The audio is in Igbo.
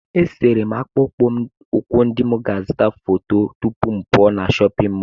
Esere m akpụkpọ ụkwụ ndị m ga-azụta foto tupu m pụọ na chọpịn mọọlụ.